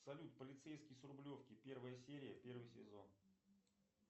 салют полицейский с рублевки первая серия первый сезон